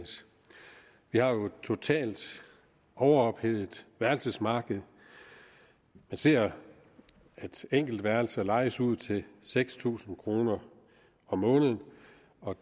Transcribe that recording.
vi har jo et totalt overophedet værelsesmarked vi ser at enkeltværelser lejes ud til seks tusind kroner om måneden